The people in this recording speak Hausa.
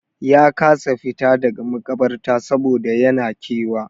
Ya kasa fita daga maƙabarta saboda yan na kewa.